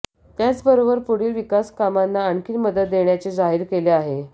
त्याच बरोबर पुढील विकासकामांना आणखी मदत देण्याचे जाहीर केले आहे